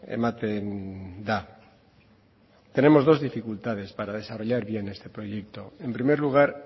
ematen da tenemos dos dificultades para desarrollar bien este proyecto en primer lugar